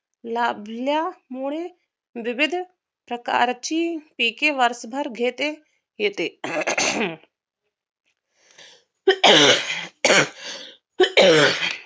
लाभल्यामुळ विविध प्रकारची पिके वर्षभर घेते येते